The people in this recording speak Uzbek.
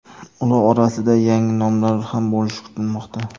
Ular orasida yangi nomlar ham bo‘lishi kutilmoqda.